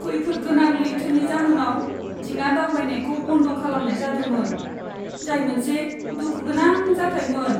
खैफोदनां लैथोनि जाहोनाव दिङा दावबायनायखौ बन्द खालामनाय जादोंमोन, जाय मोनसे दुखु गोनां जाथायमोन।